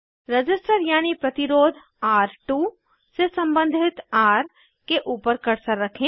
register यानी प्रतिरोध र2 से सम्बंधित र के ऊपर कर्सर रखें